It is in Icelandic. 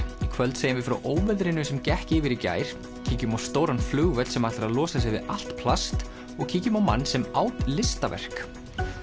í kvöld segjum við frá óveðrinu sem gekk yfir í gær kíkjum á stóran flugvöll sem ætlar að losa sig við allt plast og kíkjum á mann sem át listaverk